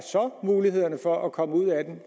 mulighederne så for at komme ud af den